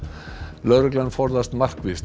lögreglan forðast markvisst að